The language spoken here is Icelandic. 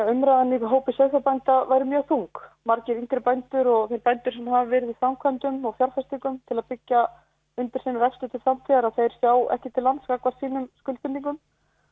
umræðan í hópi sauðfjárbænda væri mjög þung margir yngri bændur og þeir bændur sem hafa verið í framkvæmdum og fjárfestingum til að byggja undir sinn rekstur til framtíðar þeir sjá ekki til lands gagnvart sínum skuldbindingum